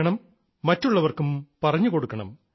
മറ്റുള്ളവർക്കും പറഞ്ഞുകൊടുക്കണം